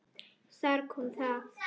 Þar kom það!